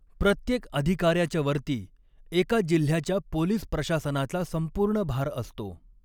प्रत्येक अधिकार्याच्या वरती एका जिल्ह्याच्या पोलिस प्रशासनाचा संपूर्ण भार असतो.